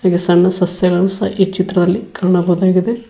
ಹಾಗೆ ಸಣ್ಣ ಸಸ್ಯಗಳು ಸಹ ಈ ಚಿತ್ರದಲ್ಲಿ ಕಾಣಬಹುದಾಗಿದೆ.